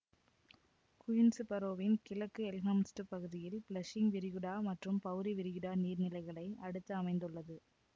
Queens பரோவின் கிழக்கு எல்ம்ஹர்ஸ்ட்டுப் பகுதியில் பிளஷிங் விரிகுடா மற்றும் பௌவரி விரிகுடா நீர்நிலைகளை அடுத்து அமைந்துள்ளது